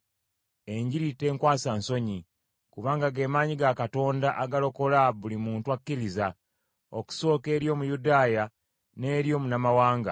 Enjiri tenkwasa nsonyi: kubanga ge maanyi ga Katonda agalokola buli muntu akkiriza, okusooka eri Omuyudaaya n’eri Omunnamawanga.